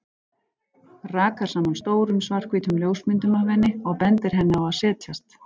Rakar saman stórum, svarthvítum ljósmyndum af henni og bendir henni á að setjast.